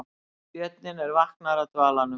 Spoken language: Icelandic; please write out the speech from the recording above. Björninn er vaknaður af dvalanum